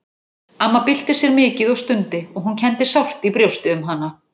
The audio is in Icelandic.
Amma bylti sér mikið og stundi og hún kenndi sárt í brjósti um hana.